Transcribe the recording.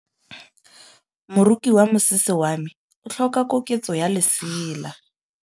Moroki wa mosese wa me o tlhoka koketsô ya lesela.